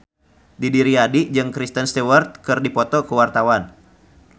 Didi Riyadi jeung Kristen Stewart keur dipoto ku wartawan